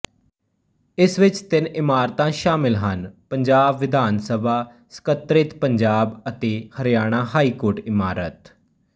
ਇਸ ਵਿੱਚ ਤਿੰਨ ਇਮਾਰਤਾਂ ਸ਼ਾਮਲ ਹਨਪੰਜਾਬ ਵਿਧਾਨ ਸਭਾ ਸਕੱਤਰੇਤਪੰਜਾਬ ਅਤੇ ਹਰਿਆਣਾ ਹਾਈ ਕੋਰਟ ਇਮਾਰਤ